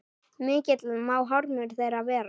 Mikill má harmur þeirra vera.